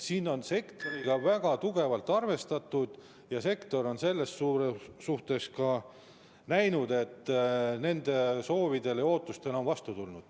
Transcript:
Siin on sektoriga väga tugevalt arvestatud ja sektor on ka näinud, et nende soovidele ja ootustele on vastu tuldud.